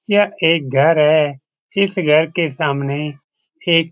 यह एक घर है। इस घर के सामने एक --